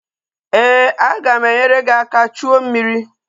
Ee, aga m enyere gị aka chuo mmiri